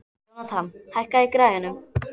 Jónatan, hækkaðu í græjunum.